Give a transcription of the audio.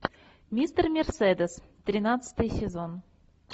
мистер мерседес тринадцатый сезон